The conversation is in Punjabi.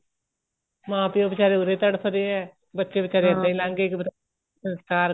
ਮਾਂ ਪਿਓ ਬਚਾਰੇ ਉਰੇ ਤੜਫ਼ਦੇ ਹੈ ਬੱਚੇ ਬੀਚਾਰੇ ਇੱਦਾ ਹੀ ਲੱਗ ਗਏ ਸੰਸ਼ਕਾਰ ਕਰਿਆ